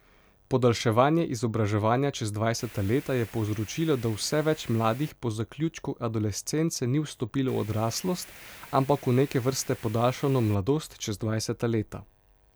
Podaljševanje izobraževanja čez dvajseta leta je povzročilo, da vse več mladih po zaključku adolescence ni vstopilo v odraslost, ampak v neke vrste podaljšano mladost čez dvajseta leta.